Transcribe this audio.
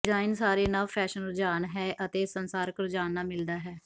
design ਸਾਰੇ ਨਵ fashion ਰੁਝਾਨ ਹੈ ਅਤੇ ਸੰਸਾਰਕ ਰੁਝਾਨ ਨਾਲ ਮਿਲਦਾ ਹੈ